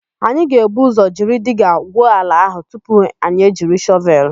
Anyị ga-ebu ụzọ jiri diga gwuo ala áhụ̀ tupu anyị ejiri shọvelụ.